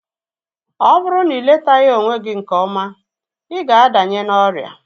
Ọ bụrụ na iletaghi onwe gị nke ọma, ịga adanye n'ọrịa